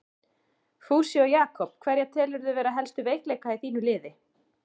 Fúsi og Jakob Hverja telurðu vera helstu veikleika í þínu liði?